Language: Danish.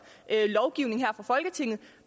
lovgivning her fra folketinget